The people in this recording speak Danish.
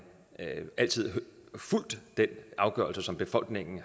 altid fulgt den afgørelse som befolkningen